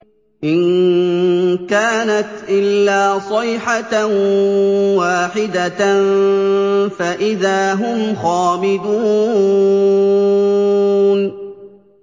إِن كَانَتْ إِلَّا صَيْحَةً وَاحِدَةً فَإِذَا هُمْ خَامِدُونَ